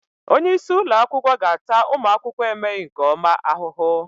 Onye isi ụlọ akwụkwọ ga-ata ụmụ akwụkwọ emeghị nke ọma ahụhụ.